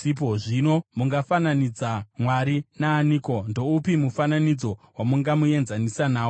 Zvino, mungafananidza Mwari naaniko? Ndoupi mufananidzo wamungamuenzanisa nawo?